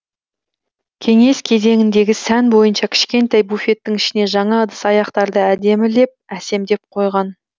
кеңес кезеңіндегі сән бойынша кішкентай буфеттің ішіне жаңа ыдыс аяқтарды әдемілеп әсемдеп қойған